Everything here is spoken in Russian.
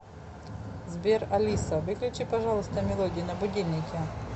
сбер алиса выключи пожалуйста мелодию на будильнике